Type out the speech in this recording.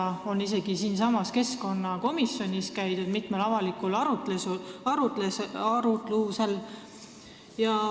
Sealt on käidud isegi siinsamas keskkonnakomisjonis mitmel avalikul arutlusel.